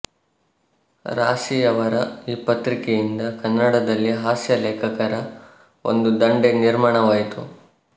ರಾಶಿಯವರ ಈ ಪತ್ರಿಕೆಯಿಂದ ಕನ್ನಡದಲ್ಲಿ ಹಾಸ್ಯಲೇಖಕರ ಒಂದು ದಂಡೇ ನಿರ್ಮಾಣವಾಯಿತು